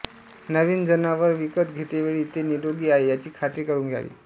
नविन जनावर विकत घेतेवेळी ते निरोगी आहे याची खात्री करून घ्यावी